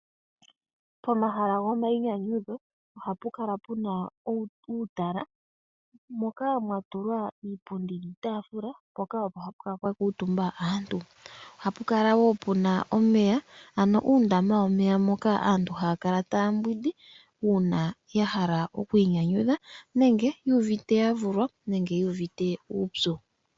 Pomahala gomayinyanyudho oha pukala puna uutala moka mwatulwa iipundi niitafula poka opo hapukala pwakutumba aantu, ohapukala wo puna omeya ano uundama womeya moka aantu hakala tambwindi una yahala okwinyanyudha nenge yuvite yavulwa nenge yuvite uupyu.